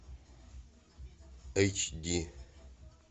эйч ди